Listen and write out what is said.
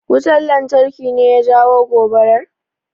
Wutan lantarki ne ya jawo gobarar?